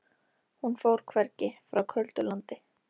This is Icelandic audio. Hún fór hvergi, frá köldu landi.